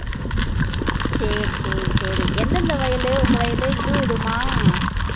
சரி சரி சரி எந்தெந்த வயலு உங்க வயலு இதுவும் இதுவுமா